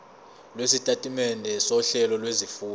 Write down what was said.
lwesitatimende sohlelo lwezifundo